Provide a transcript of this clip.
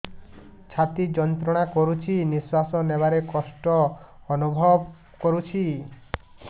ଛାତି ଯନ୍ତ୍ରଣା କରୁଛି ନିଶ୍ୱାସ ନେବାରେ କଷ୍ଟ ଅନୁଭବ କରୁଛି